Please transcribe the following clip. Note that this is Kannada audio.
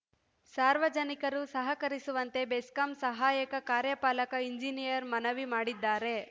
ಸಾರ್ವಜನಿಕರು ಸಹಕರಿಸುವಂತೆ ಬೆಸ್ಕಾಂ ಸಹಾಯಕ ಕಾರ್ಯಪಾಲಕ ಇಂಜಿನಿಯರ್‌ ಮನವಿ ಮಾಡಿದ್ದಾರೆ